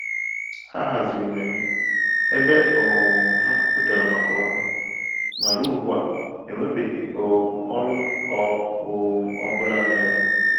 Ha haziri mmemme ebe um ha kwupụtara màkà ọrụ, ma ruo ugbu a, enwebeghị um ọrụ ọ um bụla meghere.